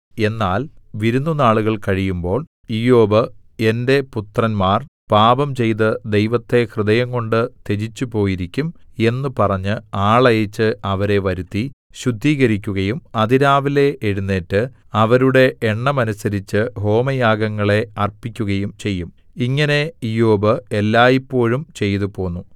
എന്നാൽ വിരുന്നുനാളുകൾ കഴിയുമ്പോൾ ഇയ്യോബ് എന്റെ പുത്രന്മാർ പാപംചെയ്ത് ദൈവത്തെ ഹൃദയംകൊണ്ട് ത്യജിച്ചുപോയിരിക്കും എന്ന് പറഞ്ഞ് ആളയച്ച് അവരെ വരുത്തി ശുദ്ധീകരിക്കുകയും അതിരാവിലെ എഴുന്നേറ്റ് അവരുടെ എണ്ണമനുസരിച്ച് ഹോമയാഗങ്ങളെ അർപ്പിക്കുകയും ചെയ്യും ഇങ്ങനെ ഇയ്യോബ് എല്ലായ്പോഴും ചെയ്തുപോന്നു